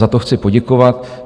Za to chci poděkovat.